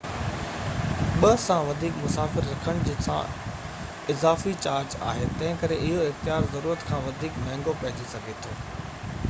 2 سان وڌيڪ مسافر رکڻ سان اضافي چارج آهي تنهنڪري اهو اختيار ضرورت کان وڌيڪ مهنگو پئجي سگهي ٿو